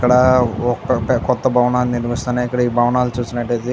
ఇక్కడ ఒక కొత్త భవనాన్ని నిర్మిస్తున్నారు ఇక్కడ ఈ భవనాన్ని చూసినట్లయితే --